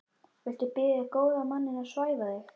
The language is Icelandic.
Viltu biðja góða manninn að svæfa þig?